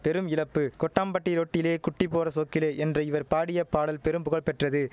பெரும் இழப்பு கொட்டாம்பட்டி ரோட்டிலே குட்டி போற சோக்கிலே என்ற இவர் பாடிய பாடல் பெரும் புகழ் பெற்றது